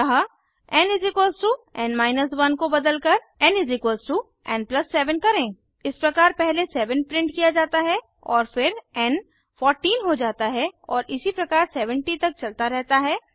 अतः nn 1 को बदलकर nn 7 करें इस प्रकार पहले 7 प्रिंट किया जाता है और फिर एन 14 हो जाता है और इसी प्रकार 70 तक चलता रहता है